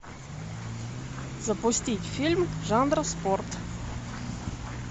запустить фильм жанра спорт